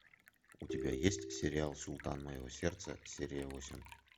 у тебя есть сериал султан моего сердца серия восемь